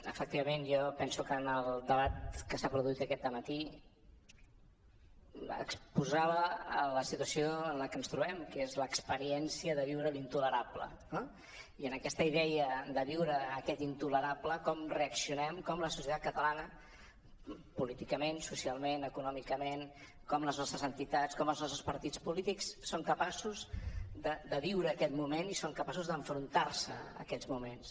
efectivament jo penso que en el debat que s’ha produït aquest matí exposava la situació en la que ens trobem que és l’experiència de viure l’intolerable no i en aquesta idea de viure aquest intolerable com reaccionem com la societat catalana políticament socialment econòmicament com les nostres entitats com els nostres partits polítics són capaços de viure aquest moment i són capaços d’enfrontar se a aquests moments